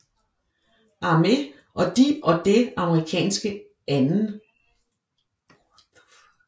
Armé og de og det amerikanske 2